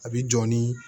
A bi jɔ ni